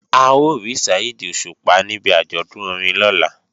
A ó rí Saheed Òṣùpá níbi àjọ̀dún orin lọ́la